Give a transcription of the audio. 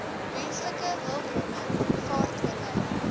menslike hulpbronne vaartbelyn